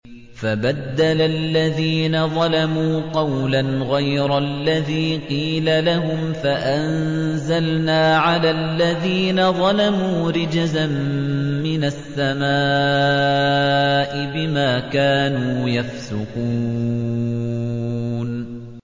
فَبَدَّلَ الَّذِينَ ظَلَمُوا قَوْلًا غَيْرَ الَّذِي قِيلَ لَهُمْ فَأَنزَلْنَا عَلَى الَّذِينَ ظَلَمُوا رِجْزًا مِّنَ السَّمَاءِ بِمَا كَانُوا يَفْسُقُونَ